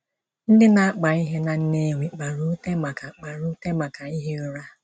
Ndị na-akpa ihe na Nnewi kpara ute maka kpara ute maka ihi ụra.